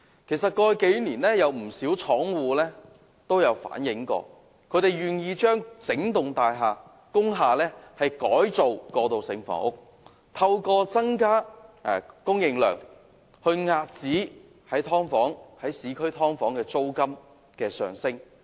其實，過去數年都有不少廠戶表示，他們願意將整幢工廈改裝為過渡性房屋，透過增加供應量，遏止市區"劏房"的租金升勢。